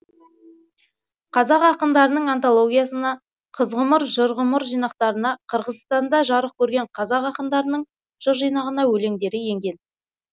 қазақ ақындарының антологиясына қыз ғұмыр жыр ғұмыр жинақтарына қырғызстанда жарық көрген қазақ ақындарының жыр жинағына өлеңдері енген